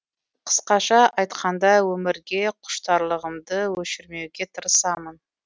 қысқаша айтқанда өмірге құштарлығымды өшірмеуге тырысамын